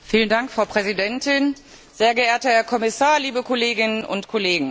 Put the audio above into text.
Frau Präsidentin, sehr geehrter Herr Kommissar, liebe Kolleginnen und Kollegen!